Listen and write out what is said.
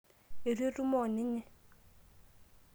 eitu etumo oninye